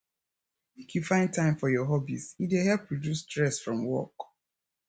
make you find time for your hobbies e dey help reduce stress from work